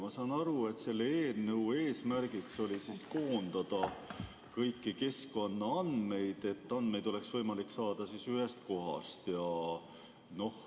Ma saan aru, et selle eelnõu eesmärgiks oli koondada kõiki keskkonnaandmeid, et andmeid oleks võimalik saada ühest kohast.